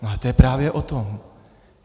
No ale to je právě o tom.